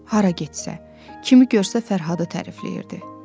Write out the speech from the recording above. Hara getsə, kimi görsə Fərhadı tərifləyirdi.